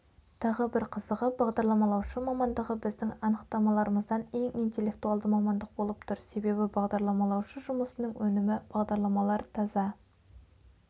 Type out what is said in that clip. тағы бір қызығы бағдарламалаушы мамандығы біздің анықтамаларымыздан ең интеллектуалды мамандық болып тұр себебі бағдарламалаушы жұмысының өнімі бағдарламалар таза